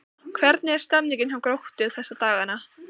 Hvernig er stemningin hjá Gróttu þessa dagana?